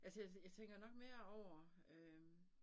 Altså jeg jeg tænker nok mere over øh